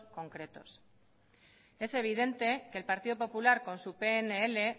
concretos es evidente que el partido popular con su pnl